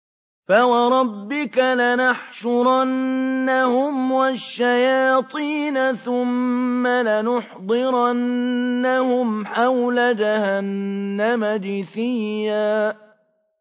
فَوَرَبِّكَ لَنَحْشُرَنَّهُمْ وَالشَّيَاطِينَ ثُمَّ لَنُحْضِرَنَّهُمْ حَوْلَ جَهَنَّمَ جِثِيًّا